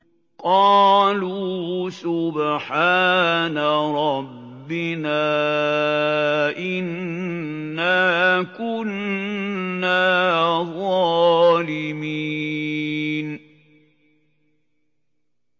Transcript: قَالُوا سُبْحَانَ رَبِّنَا إِنَّا كُنَّا ظَالِمِينَ